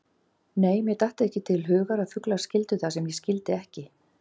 Nei, mér datt ekki til hugar að fuglar skildu það sem ég skildi ekki.